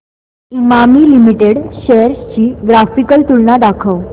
Emami limited shares ची graphical तुलना दाखव